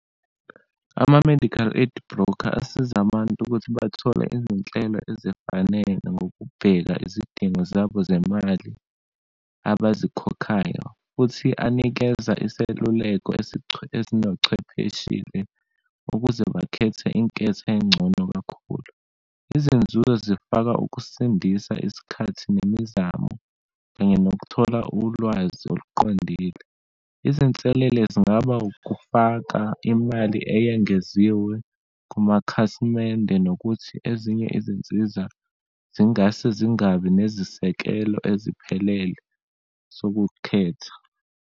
Ama-medical aid broker asiza abantu ukuthi bathole izinhlelo ezifanele ngokubheka izidingo zabo zemali abazikhokhayo, futhi anikeze iseluleko esinochwepheshile ukuze bakhethe inketho engcono kakhulu. Izinzuzo zifaka ukusindisa isikhathi nemizamo, kanye nokuthola ulwazi oluqondile. Izinselele zingaba ukufaka imali eyengeziwe kumakhasimende nokuthi ezinye izinsiza zingase zingabi nezisekelo eziphelele sokukhetha.